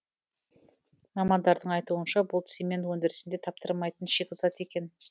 мамандардың айтуынша бұл цемент өндірісінде таптырмайтын шикізат екен